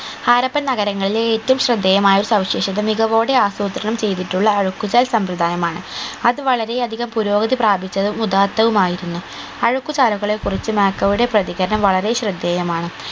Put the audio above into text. ഹാരപ്പൻ നഗരങ്ങളിലെ ഏറ്റവും ശ്രദ്ധേയമായ സവിശേഷത മികവോടെ അസ്രൂത്രണം ചെയ്തിട്ടുള്ള അഴുക്കുചാൽ സമ്പ്രദായമാണ് അത് വളരെ അധികം പുരോഗതി പ്രാപിച്ചതും ഉഥാർത്ഥവുമായിരുന്നു അഴുക്കുചാലുകളെ കുറിച്ച് യുടെ പ്രതികരണം വളരെ ശ്രദ്ധേയമാണ്